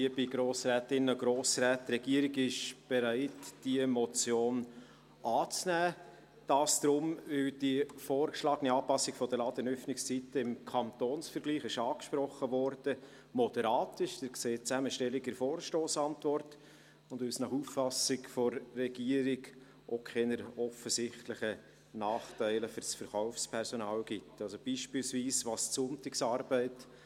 Die Regierung ist bereit, diese Motion anzunehmen, weil die vorgeschlagene Anpassung der Ladenöffnungszeiten im Kantonsvergleich moderat ist – dies wurde angesprochen, Sie sehen die Zusammenstellung in der Vorstossantwort – und weil es nach Auffassung der Regierung auch keine offensichtlichen Nachteile für das Verkaufspersonal gibt, beispielsweise bezüglich der Sonntagsarbeit: